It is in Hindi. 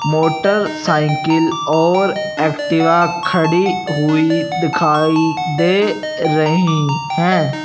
मोटरसाइकिल और एक्टिव खड़ी हुई दिखाई दे रही हैं।